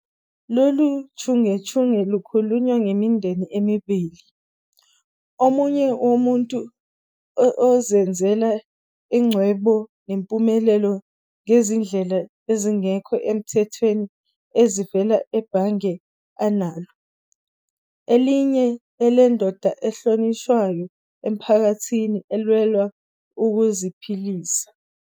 Lolu chungechunge lukhuluma ngemindeni emibili, omunye womuntu ozenzele ingcebo nempumelelo ngezindlela ezingekho emthethweni ezivela ebhange analo, elinye elendoda ehlonishwayo emphakathini elwela ukuziphilisa.